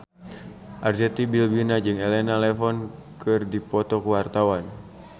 Arzetti Bilbina jeung Elena Levon keur dipoto ku wartawan